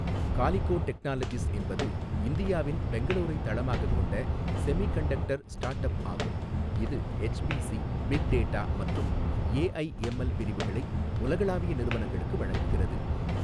Calico technologies என்பது இந்தியாவின் பெங்களூரை தளமாகக் கொண்ட செமிகண்டக்டர் ஸ்டார்ட்அப் ஆகும், இது எச்பிசி, பிக் டேட்டா மற்றும் ஏஐ எம்எல் பிரிவுகளை உலகளாவிய நிறுவனங்களுக்கு வழங்குகிறது.